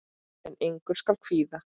En engu skal kvíða.